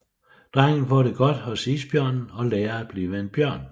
Drengen får det godt hos isbjørnen og lærer at blive en bjørn